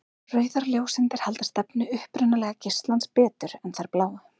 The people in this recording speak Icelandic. Rauðar ljóseindir halda stefnu upprunalega geislans betur en þær bláu.